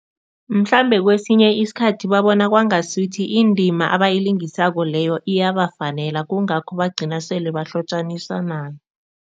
Mhlambe kwesinye isikhathi babona kwangasuthi indima abayilingisako leyo iyabafanela, kungakho bagcina sele bahlotjaniswa nayo.